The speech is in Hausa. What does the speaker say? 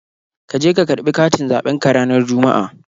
Ka je ka karɓi katin zaɓen ka ranar Juma'a.!